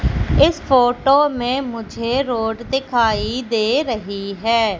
इस फोटो में मुझे रोड दिखाई दे रही है।